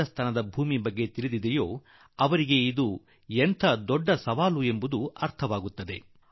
ರಾಜಸ್ತಾನದ ಭೂಮಿಯನ್ನು ಬಲ್ಲವರಿಗೆ ಅದು ಕೈಗೊಂಡಿರುವ ಕ್ರಮ ದೊಡ್ಡ ಸಂಕಲ್ಪ ಎಂದು ಅವರಿಗೆ ಗೊತ್ತಾಗುತ್ತದೆ